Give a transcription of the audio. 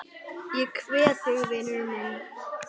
Ég kveð þig vinur minn.